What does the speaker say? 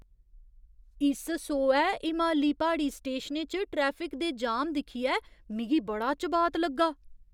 इस सोहै हिमाली प्हाड़ी स्टेशनें च ट्रैफिक दे जाम दिक्खियै मिगी बड़ा चबात लग्गा!